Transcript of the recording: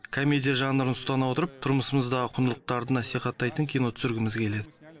комедия жанрын ұстана отырып тұрмысымыздағы құндылықтарды насихаттайтын кино түсіргіміз келеді